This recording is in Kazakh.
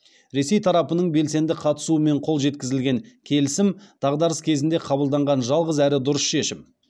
ресей тарапының белсенді қатысуымен қол жеткізілген келісім дағдарыс кезінде қабылданған жалғыз әрі дұрыс шешім